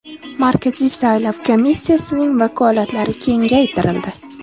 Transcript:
Markaziy saylov komissiyasining vakolatlari kengaytirildi.